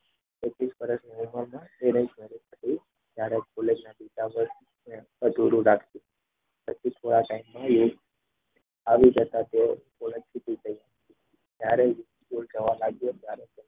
જ્યારે જવા લાગે ત્યારે